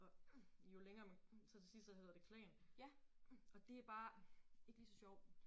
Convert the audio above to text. Og jo længere man så til sidst så hedder det klan og det bare ikke ligeså sjovt